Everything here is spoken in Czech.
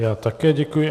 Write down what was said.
Já také děkuji.